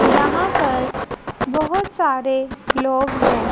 यहां पर बहुत सारे लोग हैं।